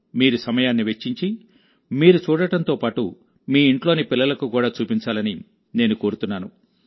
మీరు సమయాన్ని వెచ్చించి మీరు చూడడంతో పాటు మీ ఇంట్లోని పిల్లలకు కూడా చూపించాలని నేను కోరుతున్నాను